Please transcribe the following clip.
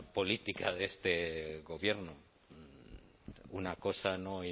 política de este gobierno una cosa no